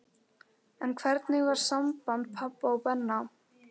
En hvernig var samband pabba og Benna?